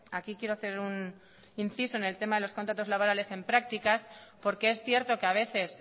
aquí quiero hacer un inciso en el tema de los contratos laborales en prácticas porque es cierto que a veces